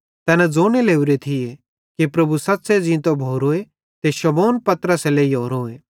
तैना ज़ोने लोरे थिये कि प्रभु सच़्च़े ज़ींतो भोरोए ते शमौन पतरसे लाहोरोए